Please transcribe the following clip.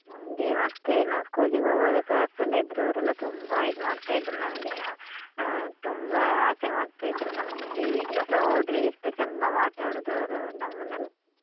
ನಮ್ಗೆ ಮತ್ತೆ ನಾವ್ school ಗೆ ಹೋಗುವಾಗ sir ಸ್ ಎಲ್ಲ ಇದ್ರೂ ಅವರೆಲ್ಲ ತುಂಬ ಇದ್ಮಾಡ್ತಿದ್ರು ನಮ್ಗೆ ನಾವ್ ಅಹ್ ತುಂಬ ಆಸೆ ಮಾಡ್ತ ಇದ್ದ್ರು ನಮ್ಮನೆಲ್ಲ ಈಗ್ಲುಸ ಹೋದ್ರೆ ಎಷ್ಟು ಚಂದ ಮಾತಾಡುದು ಅವರು ನಮ್ಮನೆಲ್ಲ.